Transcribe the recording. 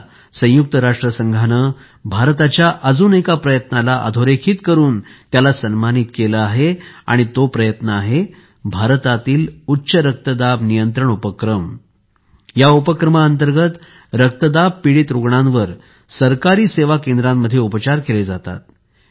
आता संयुक्त राष्ट्रसंघाने भारताच्या अजून एका प्रयत्नाला अधोरेखित करून त्याला सन्मानित केले आहे आणि तो प्रयत्न आहे भारतातील उच्चरक्तदाब नियंत्रण उपक्रम या उपक्रमा अंतर्गत रक्तदाब पीडित रुग्णांवर सरकारी सेवा केंद्रांमध्ये उपचार केले जातात